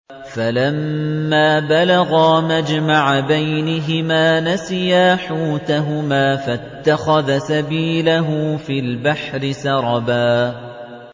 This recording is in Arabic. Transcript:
فَلَمَّا بَلَغَا مَجْمَعَ بَيْنِهِمَا نَسِيَا حُوتَهُمَا فَاتَّخَذَ سَبِيلَهُ فِي الْبَحْرِ سَرَبًا